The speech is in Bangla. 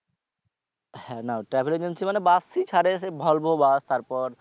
হ্যাঁ না travel agency মানে bus ই ছারে সে volvo bus তারপর